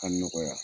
Ka nɔgɔya